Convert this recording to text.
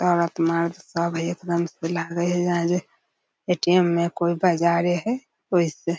और अपना सब हई एकदम ए.टी.एम. में कोय बजारे हेय कोय से --